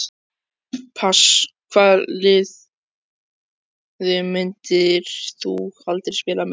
pass Hvaða liði myndir þú aldrei spila með?